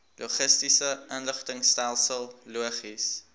logistiese inligtingstelsel logis